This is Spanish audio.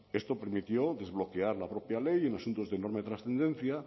esto permitió desbloquear la propia ley en asuntos de enorme trascendencia